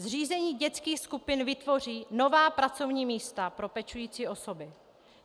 Zřízení dětských skupin vytvoří nová pracovní místa pro pečující osoby.